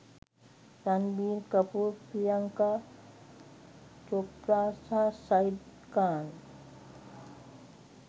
රන්බීර් කපූර් ප්‍රියංකා චොප්රා සහ සයිඩ් ඛාන්.